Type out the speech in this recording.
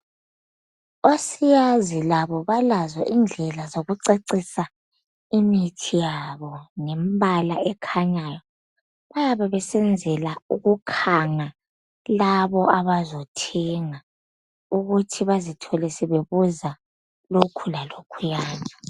osiyazi labo balazo izindlela zoku cacisa imithi yabo ngemibala ekhanyayo bayabe beyenzela ukukhanga labo abazothenga ukuthi bazithole sebebuza lokhu lalokhuyana.